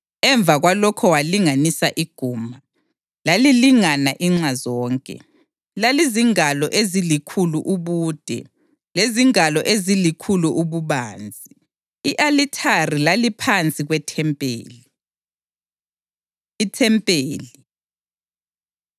Emva kwalokho walinganisa iguma: Lalilingana inxa zonke, lalizingalo ezilikhulu ubude lezingalo ezilikhulu ububanzi. I-alithari laliphansi kwethempeli. IThempeli